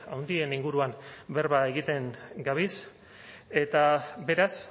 handien inguruan berba egiten gabiz eta beraz